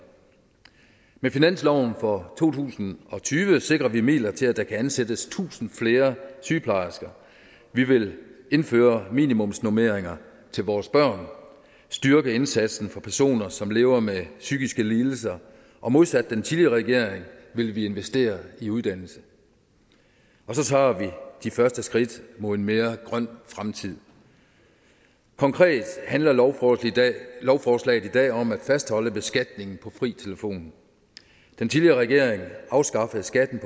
med finansloven for to tusind og tyve sikrer vi midler til at der kan ansættes tusinde flere sygeplejersker vi vil indføre minimumsnormeringer til vores børn styrke indsatsen for personer som lever med psykiske lidelser og modsat den tidligere regering vil vi investere i uddannelse og så tager vi de første skridt mod en mere grøn fremtid konkrete handler lovforslaget lovforslaget i dag om at fastholde beskatningen på fri telefon den tidligere regering afskaffede skatten